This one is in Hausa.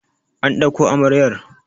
an dauko amaryar!